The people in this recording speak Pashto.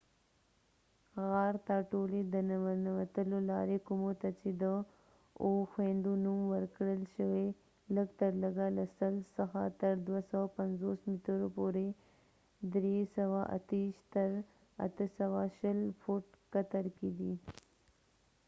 غار ته ټولي د ننوتلو لاري کومو ته چي د اوو خويندو” نوم ورکړل شوي، لږترلږه له 100 څخه تر 250 مترو پورې 328 تر 820 فټ قطر کې دي۔